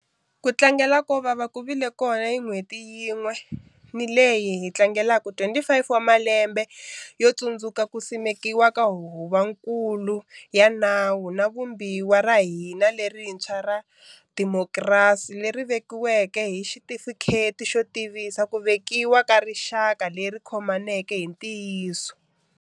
Ku tlangela ko vava ku vile kona hi n'hweti yin'we ni leyi hi tlangeleke 25 wa malelmbe yo tsundzuka ku simekiwa ka Huvonkulu ya Nawu wa Vumbiwa ra hina lerintshwa ra demokirasi, leri vekiweke hi xitifikheti xo tivisa ku vekiwa ka rixaka leri khomaneke hi ntiyiso.